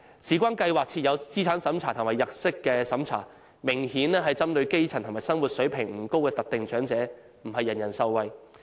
由於計劃設有資產及入息審查，明顯針對基層和生活水平不高的特定長者，並非人人受惠。